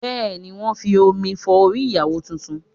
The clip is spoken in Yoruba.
Bẹ́ẹ̀ ni, wọn ń fi omi fọ orí ìyàwó tuntun